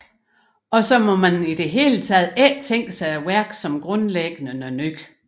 Også må man i det hele ikke tænke sig værket som grundlæggende noget nyt